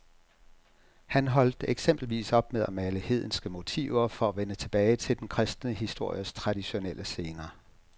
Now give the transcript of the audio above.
Han holdt eksempelvis op med at male hedenske motiver for at vende tilbage til den kristne histories traditionelle scener.